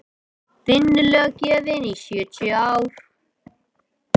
vinnulöggjöfin í sjötíu ár